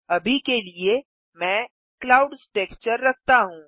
अभी के लिए मैं क्लाउड्स टेक्सचर रखता हूँ